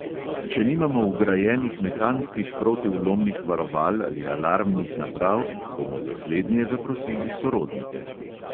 Če nimamo vgrajenih mehanskih protivlomnih varoval ali alarmnih naprav, bomo za slednje zaprosili sorodnike.